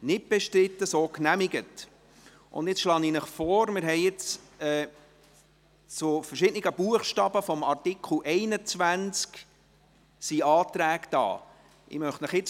Ich bitte Sie nun, zu allen diesen Anträgen und zum ganzen Artikel 21 Absatz 1, Buchstaben a,